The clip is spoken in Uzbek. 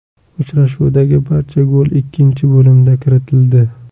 Uchrashuvdagi barcha gol ikkinchi bo‘limda kiritildi.